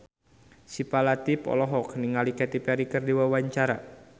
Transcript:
Syifa Latief olohok ningali Katy Perry keur diwawancara